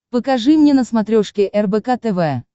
покажи мне на смотрешке рбк тв